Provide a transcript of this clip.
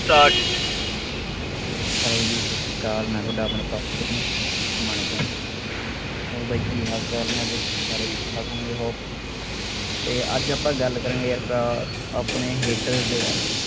start hello ਜੀ ਸੱਤ ਸ਼੍ਰੀ ਅਕਾਲ ਮੈਂ ਤੁਹਾਡਾ ਆਪਣਾ ਉਸਮਾਣੇ ਤੋਂ ਹੋਰ ਬਾਈ ਕਿ ਹਾਲ ਚਾਲ ਨੇ ਅੱਜ ਸਾਰੇ ਠੀਕ ਠਾਕ ਹੋਣਗੇ hope ਤੇ ਅੱਜ ਆਪਾਂ ਗੱਲ ਕਰਾਂਗੇ ਯਾਰ ਭਰਾ ਆਪਣੇ haters ਦੇ ਬਾਰੇ